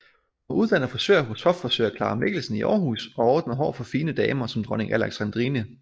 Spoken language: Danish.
Hun var uddannet frisør hos hoffrisør Clara Mikkelsen i Aarhus og ordnede hår for fine damer som dronning Alexandrine